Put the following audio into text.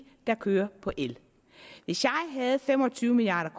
der kører på el hvis jeg havde fem og tyve milliard